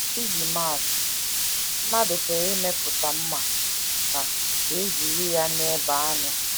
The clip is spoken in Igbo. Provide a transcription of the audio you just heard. Iji maa atụ: Mmadụ pụrụ imepụta mma ka ka e jiri ya na - ebe anụ.